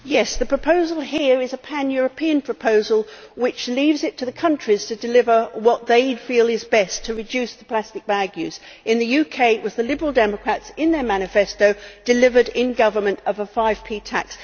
Yes, the proposal here is a pan-European proposal which leaves it to the countries to deliver what they feel is best to reduce plastic bag use. In the UK it was the Liberal Democrats, in their manifesto, who delivered in Government a 5p tax.